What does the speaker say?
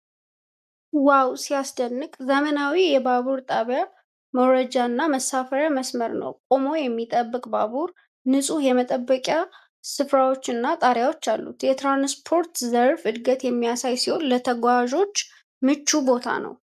ዋው ሲያስደንቅ! ዘመናዊ የባቡር ጣቢያ መውረጃና መሳፈሪያ መስመር ነው። ቆሞ የሚጠብቅ ባቡር፣ ንጹህ የመጠበቂያ ስፍራዎችና ጣሪያዎች አሉ። የትራንስፖርት ዘርፍ እድገትን የሚያሳይ ሲሆን፣ ለተጓዦች ምቹ ቦታ ነው።